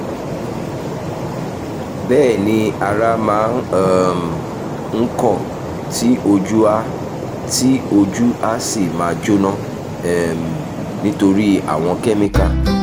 bẹ́ẹ̀ ni ara máa um ń kọ̀ ọ́ tí ojú á tí ojú á sì máa jóná um nítorí àwọn kẹ́míkà